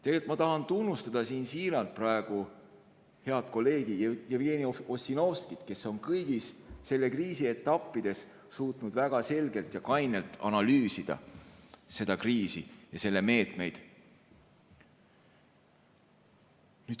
Tegelikult ma tahan tunnustada siin siiralt praegu head kolleegi Jevgeni Ossinovskit, kes on kõigis selle kriisi etappides suutnud väga selgelt ja kainelt analüüsida seda kriisi ja selle meetmeid.